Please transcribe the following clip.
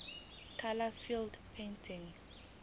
kube lula ukuthola